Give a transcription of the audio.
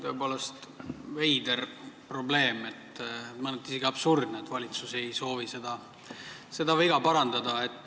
Tõepoolest veider probleem, mõneti on isegi absurdne, et valitsus ei soovi seda viga parandada.